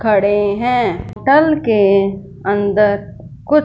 खड़े हैं टल के अंदर कुछ--